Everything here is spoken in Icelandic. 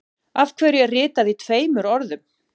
Af hverju er ritað í tveimur orðum.